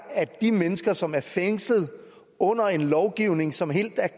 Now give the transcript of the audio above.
at de mennesker som er fængslet under en lovgivning som helt